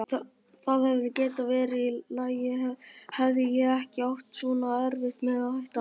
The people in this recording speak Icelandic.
Það hefði getað verið í lagi hefði ég ekki átt svona erfitt með að hætta.